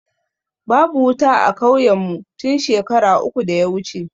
Babu wuta a kauyen mu tun shekara uku da ya wuce